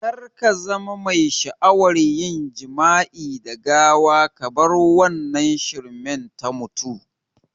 Kar kazama mai sha'awa yin jima'i da gawa kabar wannan shirman ta mutu